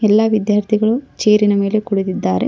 ಎಲ್ಲಾ ವಿದ್ಯಾರ್ಥಿಗಳು ಚೆರಿ ನ ಮೇಲೆ ಕುಳಿತಿದಿದ್ದಾರೆ.